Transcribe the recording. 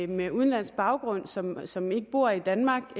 med udenlandsk baggrund som som ikke bor i danmark